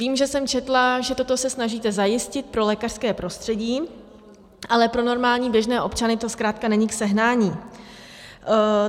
Vím, že jsem četla, že toto se snažíte zajistit pro lékařské prostředí, ale pro normální běžné občany to zkrátka není k sehnání.